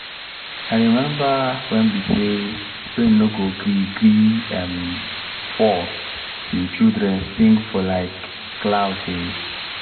i remember wen be say rain no gree gree um fall till children sing for um klout um